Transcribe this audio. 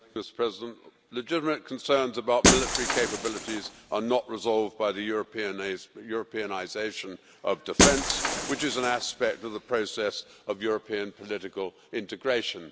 Mr President, legitimate concerns about military capabilities are not resolved by the Europeanisation of defence, which is an aspect of the process of European political integration.